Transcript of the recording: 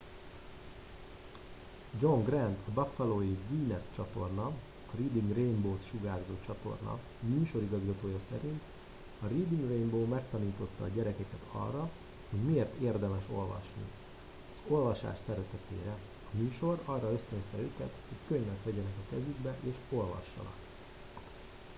john grant a buffalói wned csatorna areading rainbow-t sugárzó csatorna műsorigazgatója szerint ”a reading rainbow megtanította a gyerekeket arra hogy miért érdemes olvasni... az olvasás szeretetére — [a műsor] arra ösztönözte őket hogy könyvet vegyenek a kezükbe és olvassanak.